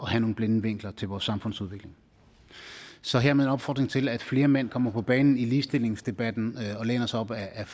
have nogle blinde vinkler til vores samfundsudvikling så hermed en opfordring til at flere mænd kommer på banen i ligestillingsdebatten og læner sig op ad